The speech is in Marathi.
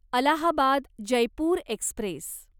अलाहाबाद जयपूर एक्स्प्रेस